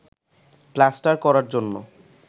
plaster করার জন্য